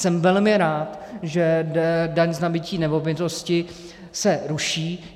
Jsem velmi rád, že daň z nabytí nemovitostí se ruší.